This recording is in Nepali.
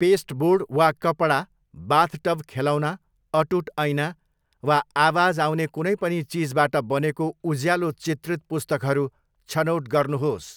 पेस्टबोर्ड वा कपडा, बाथटब खेलौना, अटुट ऐना, वा आवाज आउने कुनै पनि चिजबाट बनेको उज्यालो चित्रित पुस्तकहरू छनौट गर्नुहोस्।